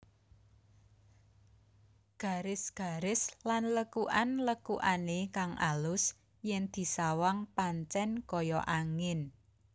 Garis garis lan lekukan lekukane kang alus yen disawang pancen kaya angin